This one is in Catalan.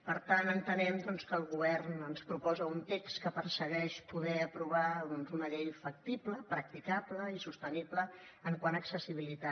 per tant entenem que el govern ens proposa un text que persegueix poder aprovar doncs una llei factible practicable i sostenible quant a accessibilitat